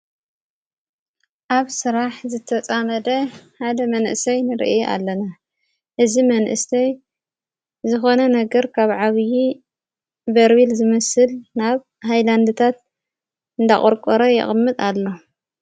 ኣብ ሥራሕ ዝተፃመደ ሓደ መንእሰይ ንርእ ኣለና እዚ መንእስተይ ዝኾነ ነገር ካብ ዓብዪ በርሚል ዝመስል ናብ ሃይላንድታት እንዳቖርቈረ የቕምጥ ኣሎ።